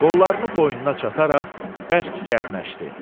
Qollarını boynuna çataraq bərk gərnəşdi.